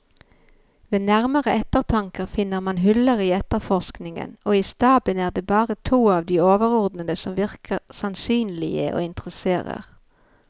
Ved nærmere eftertanke finner man huller i efterforskningen, og i staben er det bare to av de overordnede som virker sannsynlige og interesserer.